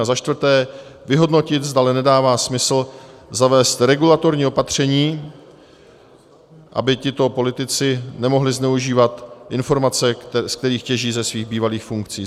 A za čtvrté vyhodnotit, zdali nedává smysl zavést regulatorní opatření, aby tito politici nemohli zneužívat informace, ze kterých těží ze svých bývalých funkcí.